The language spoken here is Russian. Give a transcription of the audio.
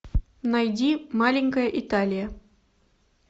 найди маленькая италия